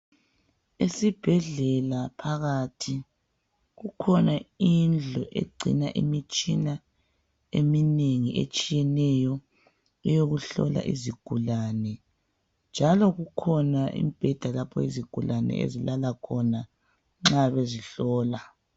Esibhedlela phakathi kukhona indlu egcina imitshina eminengi etshiyeneyo eyokuhlola izigulane njalo kukhona imbheda lapho izigulane ezilala khona nxa bezihlola.